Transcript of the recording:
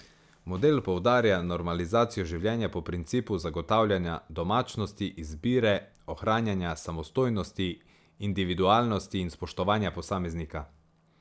Model poudarja normalizacijo življenja po principu zagotavljanja domačnosti, izbire, ohranjanja samostojnosti, individualnosti in spoštovanja posameznika.